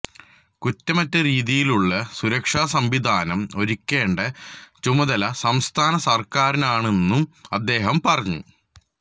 കുറ്റമറ്റ രീതിയിലുള്ള സുരക്ഷാ സംവിധാനം ഒരുക്കേണ്ട ചുമതല സംസ്ഥാന സർക്കാരിനാണെന്നും അദ്ദേഹം പറഞ്ഞു